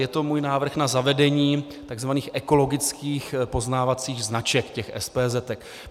Je to můj návrh na zavedení tzv. ekologických poznávacích značek, těch SPZ.